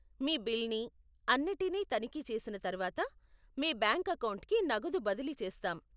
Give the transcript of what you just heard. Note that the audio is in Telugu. మీ బిల్ని, అన్నిటినీ తనిఖీ చేసిన తర్వాత, మీ బ్యాంక్ అకౌంట్కి నగదు బదిలీ చేస్తాం.